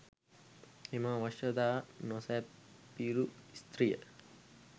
එම අවශ්‍යතා නොසැපිරු ස්ත්‍රිය